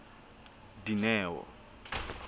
dineo